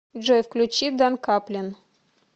джой включи дан каплен